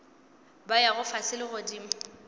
ba yago fase le godimo